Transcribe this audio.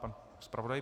Pan zpravodaj.